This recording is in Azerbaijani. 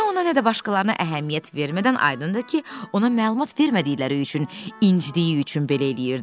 Nə ona, nə də başqalarına əhəmiyyət vermədən aydındır ki, ona məlumat vermədikləri üçün, incitdiyi üçün belə eləyirdi.